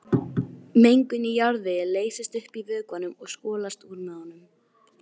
Mengun í jarðvegi leysist upp í vökvanum og skolast úr með honum.